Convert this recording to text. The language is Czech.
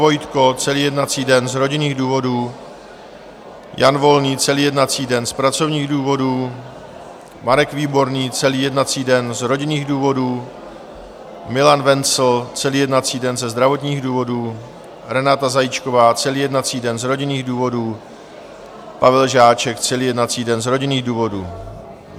Vojtko celý jednací den z rodinných důvodů, Jan Volný celý jednací den z pracovních důvodů, Marek Výborný celý jednací den z rodinných důvodů, Milan Wenzl celý jednací den ze zdravotních důvodů, Renáta Zajíčková celý jednací den z rodinných důvodů, Pavel Žáček celý jednací den z rodinných důvodů.